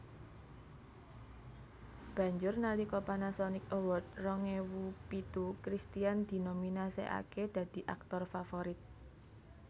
Banjur nalika Panasonic Award rong ewu pitu Christian dinominasèkaké dadi aktor favorit